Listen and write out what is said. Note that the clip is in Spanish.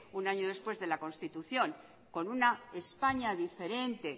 un año después de la constitución con una españa diferente